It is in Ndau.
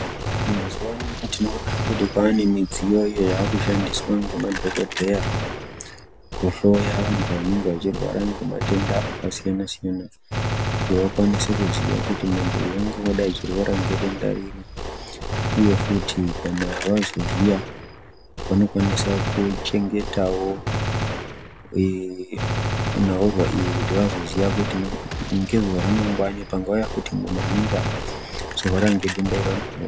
Mazuva ano tinoona kuti kwane midziyo iyo yakushandiswa ngemadhogodheya kuhloya vantu vanenge vachirwara ngematenda akasiyana-siyana. Kuti vakwanise kuziya kuti muntu uyu angadai achirwara ngedenda iriri, uye futi kana vazoziya vanokwanisa kuchengetavo nhaurwa iyi kuti vazoziya kuti ngezuva ramangwani panguva yekuti muntu anenge achirwara ngedenda irona.